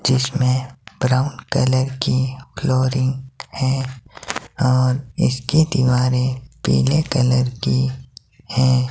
जिसमे brown colour की flooring है और इसके दीवारे पिले कलर की है।